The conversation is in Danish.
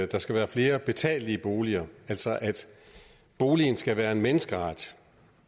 der skal være flere betalelige boliger altså at boligen skal være en menneskeret